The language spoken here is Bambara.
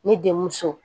Ne denmuso